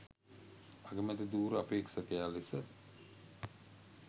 අගමැති ධුර අපේක්ෂකයා ලෙස